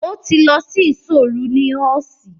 Ó ti lọ sí ìṣọ́ òru ní ọ́ọ̀ṣì.